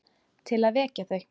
Til að vekja þau.